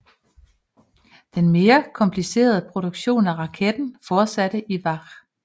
Den mere komplicerede produktion af raketter fortsatte i Vach